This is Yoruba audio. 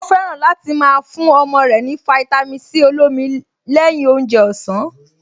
Ó fẹ́ràn láti máa fún ọmọ rẹ̀ ní fáítámì Sí olómi lẹ́yìn oúnjẹ ọ̀sán